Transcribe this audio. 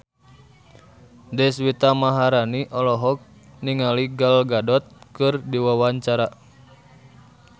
Deswita Maharani olohok ningali Gal Gadot keur diwawancara